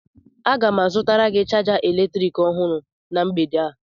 Aga m azụtara gị chaja eletrik ọhụrụ na mgbede a